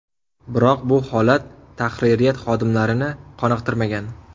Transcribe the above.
Biroq bu holat tahririyat xodimlarini qoniqtirmagan.